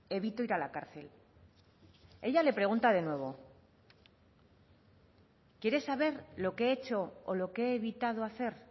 evito ir a la cárcel ella le pregunta de nuevo quieres saber lo que he hecho o lo que he evitado hacer